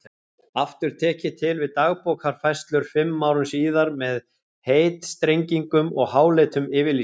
Aftur tek ég til við Dagbókarfærslur fimm árum síðar með heitstrengingum og háleitum yfirlýsingum.